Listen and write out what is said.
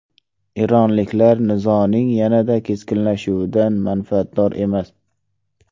Eronliklar nizoning yanada keskinlashuvidan manfaatdor emas.